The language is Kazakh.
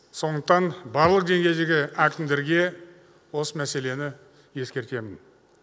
сондықтан барлық деңгейдегі әкімдерге осы мәселені ескертемін